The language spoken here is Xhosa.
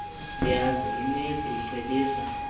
koosiyazi inesi icebisa